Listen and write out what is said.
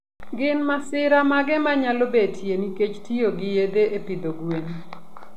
Gin masira mage manyalo betie nikech tiyo gi yedhe e pidho gwen?